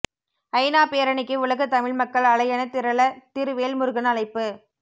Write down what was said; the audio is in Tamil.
ஐநா பேரணிக்கு உலகத் தமிழ் மக்கள் அலையென திரள திரு வேல்முருகன் அழைப்பு